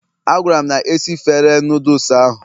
A gwara m na esifere noodles ahụ